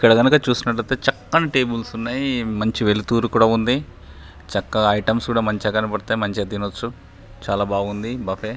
ఇక్కడ గనుక చూసినట్లయితే చక్కని టెబుల్స్ ఉన్నాయి మంచి వెలుతురు కూడా ఉంది చక్కగా ఐ టెమ్స్ కూడా మంచిగా కనబడతాయి మంచిగా తినచ్చు చాలా బాగుంది బఫె .